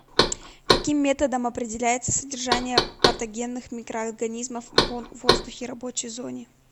каким методом определяется содержание патогенных микроорганизмов в воздухе рабочей зоне